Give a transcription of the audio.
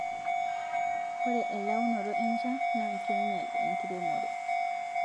Ore elaunoto enchan naa keinyal enkiremore